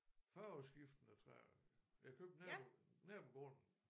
Farveskiftende træer jeg købte nabo nabogrunden